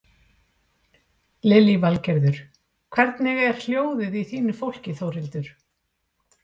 Lillý Valgerður: Hvernig er hljóðið í fólki Þórhildur?